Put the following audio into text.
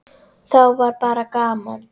Þá var bara gaman.